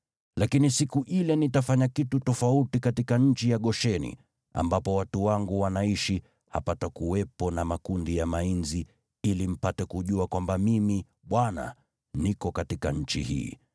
“ ‘Lakini siku ile nitafanya kitu tofauti katika nchi ya Gosheni, ambapo watu wangu wanaishi, hapatakuwepo na makundi ya mainzi, ili mpate kujua kwamba Mimi, Bwana , niko katika nchi hii.